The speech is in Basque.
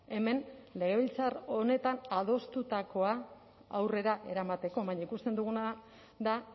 hemen legebiltzar honetan adostutakoa aurrera eramateko baina ikusten duguna da